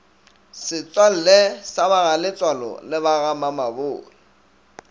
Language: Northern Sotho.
setswalle sa bagaletsoalo le bagamamabolo